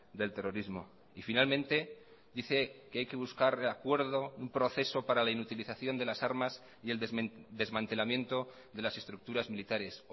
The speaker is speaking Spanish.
del terrorismo y finalmente dice que hay que buscar acuerdo un proceso para la inutilización de las armas y el desmantelamiento de las estructuras militares